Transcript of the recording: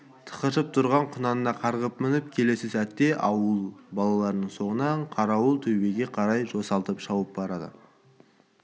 тықыршып тұрған құнанына қарғып мініп келесі сәтте да ауыл балаларының соңынан қарауыл төбеге қарай жосылтып шауып бара